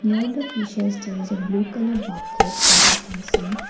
lot of fishes there is a blue colour bucket as we can see.